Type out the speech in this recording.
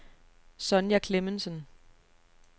Sonja Klemmensen